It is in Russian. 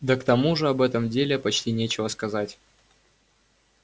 да к тому же об этом деле почти нечего сказать